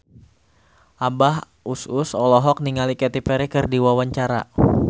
Abah Us Us olohok ningali Katy Perry keur diwawancara